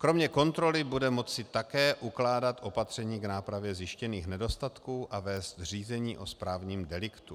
Kromě kontroly bude moci také ukládat opatření k nápravě zjištěných nedostatků a vést řízení o správním deliktu.